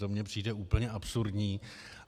To mně přijde úplně absurdní.